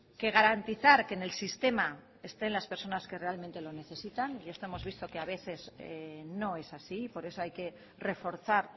que garantizar que en el sistema estén las personas que realmente lo necesitan y esto hemos visto que a veces no es así por eso hay que reforzar